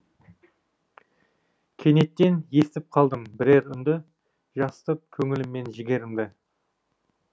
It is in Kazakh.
кенеттен естіп қалдым бірер үнді жасытып көңілім мен жігерімді